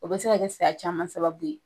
O be se ka kɛ saya caman sababu ye